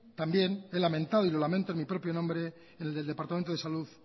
también he lamentado y lo lamento en mi propio nombre y en el departamento de salud